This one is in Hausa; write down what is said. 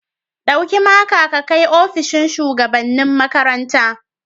Dauki maka ka kai opishin shugabanni makaranta.